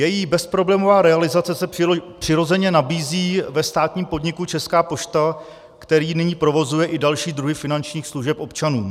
Její bezproblémová realizace se přirozeně nabízí ve státním podniku Česká pošta, který nyní provozuje i další druhy finančních služeb občanům.